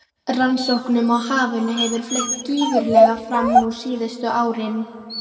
Rannsóknum á hafinu hefur fleygt gífurlega fram nú síðustu árin.